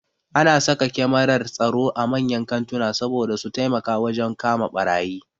Ana saka kyamarar tsaro a manyan kantuna saboda su taimaka wajen kama ɓarayi